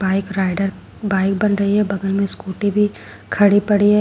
Bike rider bike बन रही है बगल में स्कूटी भी खड़ी पड़ी है।